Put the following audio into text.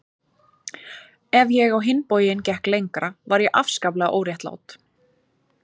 Ef ég á hinn bóginn gekk lengra var ég afskaplega óréttlát.